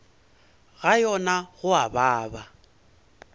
ga yona go a baba